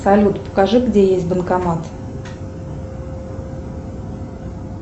салют покажи где есть банкомат